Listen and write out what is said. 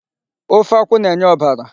Ofe akwụ na-enye ọbara.